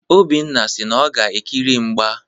Obinna si na ọ ga-ekiri mgba.